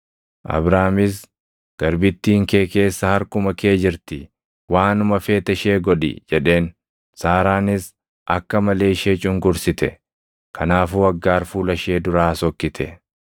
Abraamis, “Garbittiin kee keessa harkuma kee jirti; waanuma feete ishee godhi” jedheen. Saaraanis akka malee ishee cunqursite; kanaafuu Aggaar fuula ishee duraa sokkite.